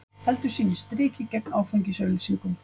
Heldur sínu striki gegn áfengisauglýsingum